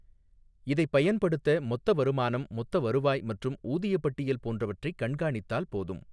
இதைப் பயன்படுத்த, மொத்த வருமானம், மொத்த வருவாய் மற்றும் ஊதியப் பட்டியல் போன்றவற்றைக் கண்காணித்தால் போதும்.